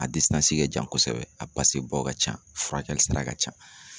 A ka jan kɔsɛbɛ a ka ca furakɛli sara ka ca.